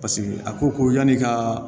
Paseke a ko ko yan'i ka